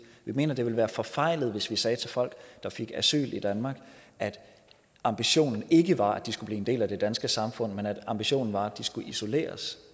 vi mener det vil være forfejlet hvis vi sagde til folk der fik asyl i danmark at ambitionen ikke var at de skulle blive en del af det danske samfund men at ambitionen var at de skulle isoleres